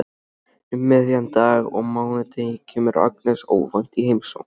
Um miðjan dag á mánudegi kemur Agnes óvænt í heimsókn.